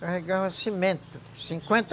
Carregava cimento. Cinquenta